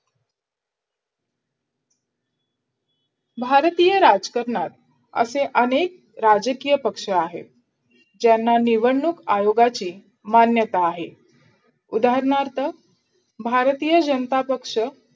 भारतीय राजकरणात असे अनेक राजकीय पक्ष आहे ज्यांना निवडणूक आयोगाची मान्यता आहे उदारणार्थ भारतीय जनता पक्ष,